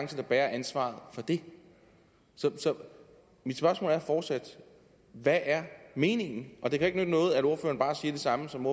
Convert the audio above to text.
der bærer ansvaret for det så mit spørgsmål er fortsat hvad er meningen det kan ikke nytte noget at ordføreren bare siger det samme som